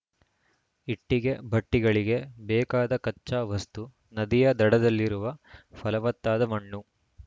ಇಟ್ಟಿಗೆ ಭಟ್ಟಿಗಳಿಗೆ ಬೇಕಾದ ಕಚ್ಚಾ ವಸ್ತು ನದಿಯ ದಡದಲ್ಲಿರುವ ಫಲವತ್ತಾದ ಮಣ್ಣು